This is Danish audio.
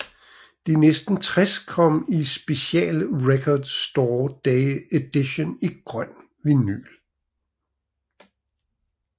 De næste 60 kom i special Record Store Day edition i grøn vinyl